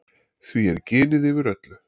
Því er ginið yfir öllu.